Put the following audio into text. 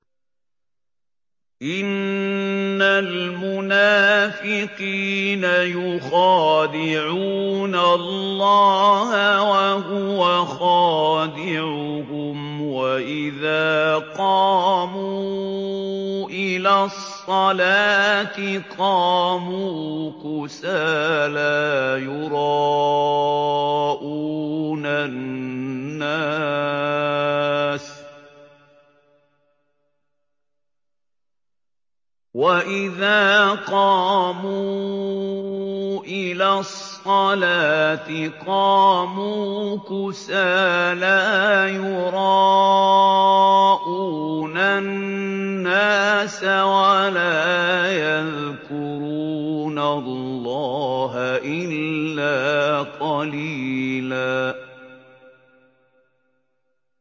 إِنَّ الْمُنَافِقِينَ يُخَادِعُونَ اللَّهَ وَهُوَ خَادِعُهُمْ وَإِذَا قَامُوا إِلَى الصَّلَاةِ قَامُوا كُسَالَىٰ يُرَاءُونَ النَّاسَ وَلَا يَذْكُرُونَ اللَّهَ إِلَّا قَلِيلًا